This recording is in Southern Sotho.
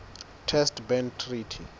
test ban treaty